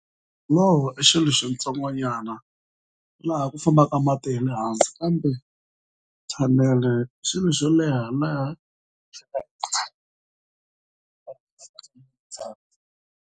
i xilo xintsongo nyana laha ku fambaka mati hi le hansi kambe thanele xilo xo leha laha.